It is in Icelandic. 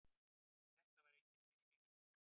En þetta var enginn misskilningur.